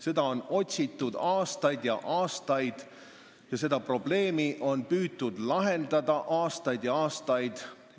Seda on otsitud aastaid ja aastaid ning seda probleemi on püütud lahendada aastaid ja aastaid.